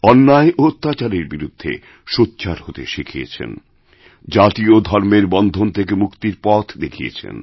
অন্যায় ও অত্যাচারের বিরুদ্ধে সোচ্চার হতেশিখিয়েছেন জাতি ও ধর্মের বন্ধন থেকে মুক্তির পথ দেখিয়েছেন